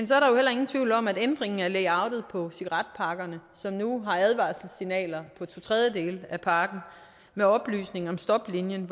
så heller ingen tvivl om at ændringerne af layoutet på cigaretpakkerne som nu har advarselssignaler på to tredjedele af pakken med oplysninger om stoplinien